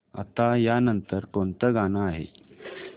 आता या नंतर कोणतं गाणं आहे